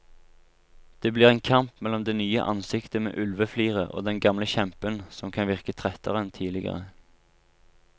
Det blir en kamp mellom det nye ansiktet med ulvefliret og den gamle kjempen som kan virke trettere enn tidligere.